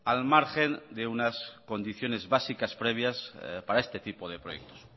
al margen de unas condiciones básicas previas para este tipo de proyectos